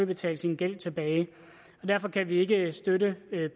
betale sin gæld tilbage derfor kan vi ikke støtte